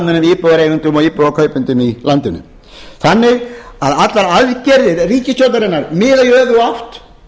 almennum íbúðareigendum og íbúðarkaupendum í landinu þannig að allar aðgerðir ríkisstjórnarinnar miða í öfuga átt